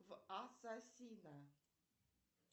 в ассасина